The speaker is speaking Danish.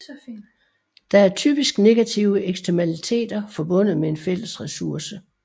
Der er typisk negative eksternaliteter forbundet med en fælles ressource